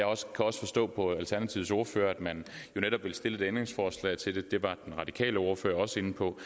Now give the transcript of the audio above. også forstå på alternativets ordfører at man jo netop vil stille et ændringsforslag til det det var den radikale ordfører også inde på